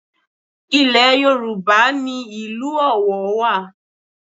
Ilẹ̀ Yorùbá ni ìlú Ọ̀wọ̀ wà